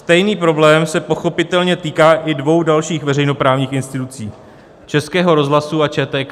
Stejný problém se pochopitelně týká i dvou dalších veřejnoprávních institucí - Českého rozhlasu a ČTK.